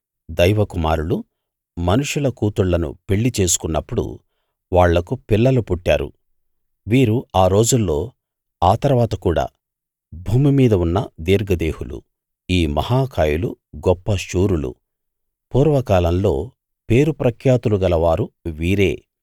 దైవ కుమారులు మనుషుల కూతుళ్ళను పెళ్ళి చేసుకున్నప్పుడు వాళ్లకు పిల్లలు పుట్టారు వీరు ఆ రోజుల్లో ఆ తరువాత కూడా భూమి మీద ఉన్న దీర్ఘదేహులు ఈ మహా కాయులు గొప్ప శూరులు పూర్వకాలంలో పేరుప్రఖ్యాతులు గల వారు వీరే